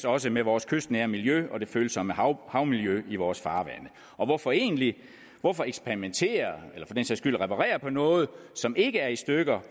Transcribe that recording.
også med vores kystnære miljø og det følsomme havmiljø i vores farvande hvorfor egentlig hvorfor eksperimentere eller for den sags skyld reparere på noget som ikke er i stykker